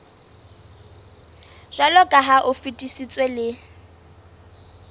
jwaloka ha o fetisitswe le